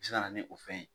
Se ka na ni o fɛn ye